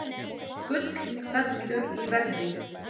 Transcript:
Gull fellur í verði